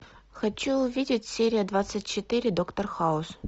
хочу увидеть серия двадцать четыре доктор хаус